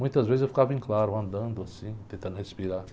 Muitas vezes eu ficava em claro, andando assim, tentando respirar.